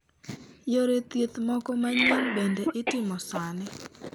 Yore thieth moko manyien bende itemo sani